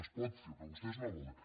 es pot fer però vostès no volen